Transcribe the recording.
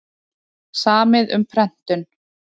Samið um prentun